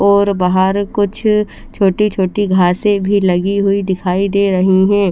और बहार कुछ छोटी छोटी घासे भी लगी दिखाई दे रही है ।